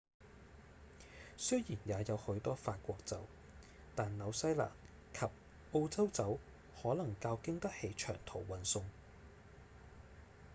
雖然也有許多法國酒但紐西蘭及澳洲酒可能較經得起長途運送